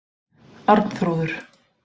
Arnþrúður